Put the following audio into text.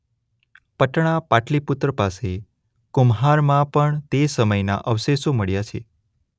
પટણા પાટલીપુત્ર પાસે કુમ્હારમાં પણ તે સમયના અવશેષો મળ્યા છે.